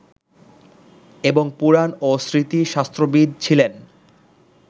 এবং পুরাণ ও স্মৃতিশাস্ত্রবিদ ছিলেন